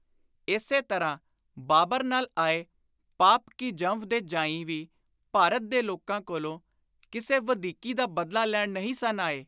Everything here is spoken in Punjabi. ਇਸੇ ਤਰ੍ਹਾਂ ਬਾਬਰ ਨਾਲ ਆਏ ‘ਪਾਪ ਕੀ ਜੰਵ’ ਦੇ ਜਾਂਈ ਵੀ ਭਾਰਤ ਦੇ ਲੋਕਾਂ ਕੋਲੋਂ ਕਿਸੇ ਵਧੀਕੀ ਦਾ ਬਦਲਾ ਲੈਣ ਨਹੀਂ ਸਨ ਆਏ।